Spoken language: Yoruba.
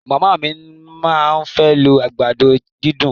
Màmá mí máa fẹ́ lo àgbàdo dídùn.